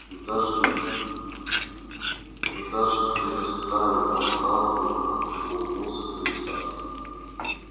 мы даже мы даже предоставим вам право выбора улыбнулся комиссар